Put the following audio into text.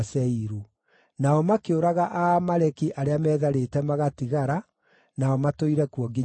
Nao makĩũraga Aamaleki arĩa meetharĩte magatigara, nao matũire kuo nginya ũmũthĩ.